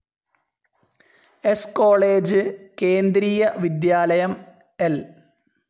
സ്‌ കോളേജ്, കേന്ദ്രീയ വിദ്യാലയം, ൽ